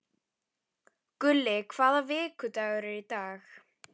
Gulli, hvaða vikudagur er í dag?